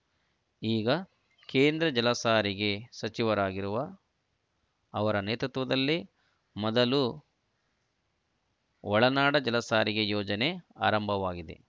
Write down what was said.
ಈಗ ಕೇಂದ್ರ ಜಲಸಾರಿಗೆ ಸಚಿವರಾಗಿರುವ ಅವರ ನೇತೃತ್ವದಲ್ಲೇ ಮೊದಲ ಒಳನಾಡು ಜಲಸಾರಿಗೆ ಯೋಜನೆ ಆರಂಭವಾಗಿದೆ